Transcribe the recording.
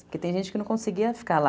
Porque tem gente que não conseguia ficar lá.